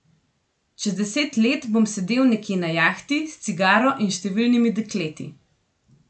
Čez deset let bom sedel nekje na jahti, s cigaro in številnimi dekleti.